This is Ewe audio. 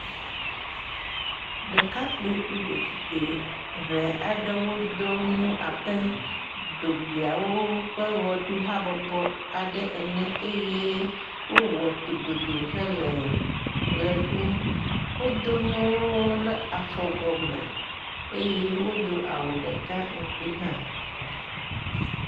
Ɖekakpi kple ɖetugbi ʋɛɛ aɖewo do nu abe dzogbeawo ƒe wɔɖuhabɔbɔ aɖe ene eye wowɔ togodoo hele ɣeɖum. Woɖo nuwo ɖe afɔ gɔme eye wodo awu ɖeka ŋgbi hã.